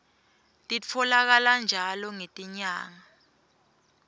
titfolakala njalo ngetinyanga